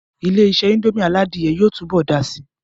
Ilé-isé indomie aládìyẹ yóò tún bọ̀ dàá si